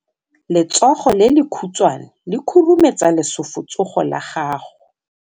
Letsogo le lekhutshwane le khurumetsa lesufutsogo la gago.